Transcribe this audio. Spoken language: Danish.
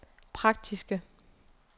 praktiske